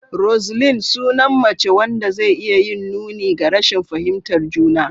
Roseline: Sunan mace wanda zai iya yin nuni ga rashin fahimtar juna.